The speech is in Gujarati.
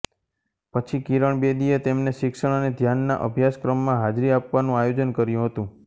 પછી કિરણ બેદીએ તેમને શિક્ષણ અને ધ્યાનના અભ્યાસક્રમમાં હાજરી આપવાનું આયોજન કર્યું હતું